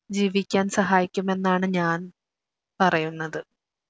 ജീവിക്കാൻ സഹായിക്കും എന്നാണ് ഞാൻ പറയുന്നത്